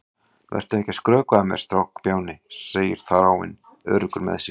Vertu ekki að skrökva að mér, strákbjáni, segir Þráinn, öruggur með sig.